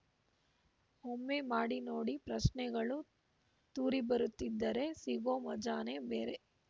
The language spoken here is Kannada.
ಒಮ್ಮೆ ಮಾಡಿ ನೋಡಿ ಪ್ರಶ್ನೆಗಳು ತೂರಿ ಬರುತ್ತಿದ್ದರೆ ಸಿಗೋ ಮಜಾನೇ ಬೇರೆ